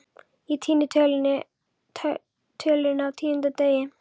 Ég týni tölunni á tíunda degi